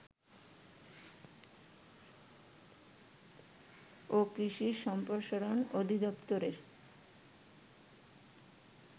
ও কৃষি সম্প্রসারণ অধিদফতরের